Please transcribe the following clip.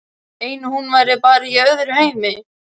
Eins og hún væri bara í öðrum heimi.